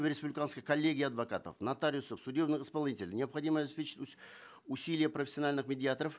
в республиканской коллегии адвокатов нотариусов судебных исполнителей необходимо обеспечить усилия профессиональных медиаторов